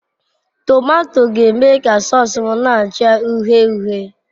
Tomato ga-eme ka sause m na-acha uhie uhie.